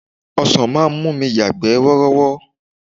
Ọsan máa ń mú mi yagbe worowo.